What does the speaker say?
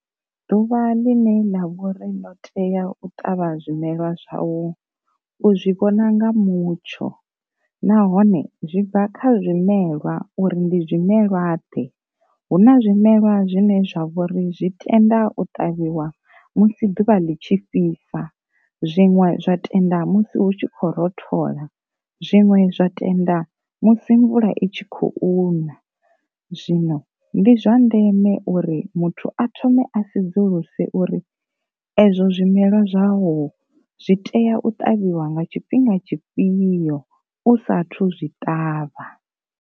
Ḓuvha ḽine ḽa vhori ḽo tea u ṱavha zwimela zwau, u zwi vhona nga mutsho nahone zwi bva kha zwimelwa uri ndi zwimelwa ḓe, hu na zwimelwa zwine zwa vhori zwi tenda u ṱavhiwa musi ḓuvha ḽi tshi fhisa, zwiṅwe zwa tenda musi hu tshi khou rothola, zwiṅwe zwa tenda musi mvula i tshi khou na. Zwino ndi zwa ndeme uri muthu a thome a sedzuluse uri ezwo zwimelwa zwavho zwi tea u tavhiwa nga tshifhinga tshifhio u sathu zwi ṱavha.